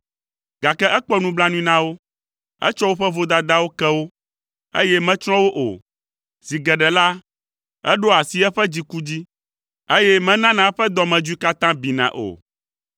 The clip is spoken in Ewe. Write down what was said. Gake ekpɔ nublanui na wo; etsɔ woƒe vodadawo ke wo, eye metsrɔ̃ wo o. Zi geɖe la, eɖoa asi eƒe dziku dzi, eye menaa eƒe dɔmedzoe katã bina o.